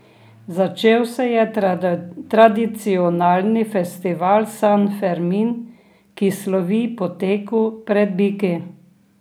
Začel se je tradicionalni festival San Fermin, ki slovi po teku pred biki.